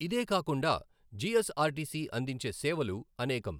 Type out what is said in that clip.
ఇదే కాకుండా, జిఎస్ఆర్టీసీ అందించే సేవలు అనేకం.